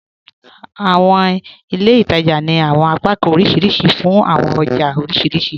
Àwọn ilẹ̀ ìtaja ni àwọn apakàn oríṣiríṣì fún àwọn ọjà oríṣiríṣì